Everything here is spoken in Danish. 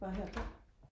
bare her på